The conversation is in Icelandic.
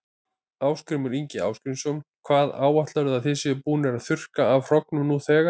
Ásgrímur Ingi Arngrímsson: Hvað áætlarðu að þið séuð búnir að þurrka af hrognum nú þegar?